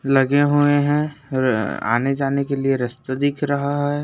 लगे हुवे है और-र आने जाने के लिए रस्ता दिख रहा है।